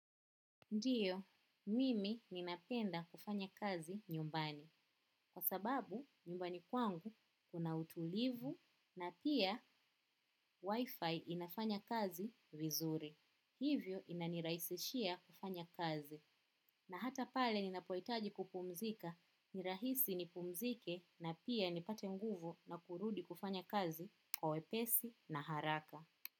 Ndiyo, mimi ninapenda kufanya kazi nyumbani. Kwa sababu, nyumbani kwangu kuna utulivu na pia wifi inafanya kazi vizuri. Hivyo inanirahisishia kufanya kazi. Na hata pale ninapohitaji kupumzika, ni rahisi nipumzike na pia nipate nguvu na kurudi kufanya kazi kwa wepesi na haraka.